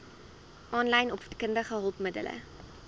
aanlyn opvoedkundige hulpmiddele